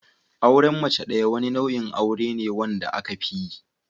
Auren mace ɗaya wani nau'in aure ne wanda aka fiyi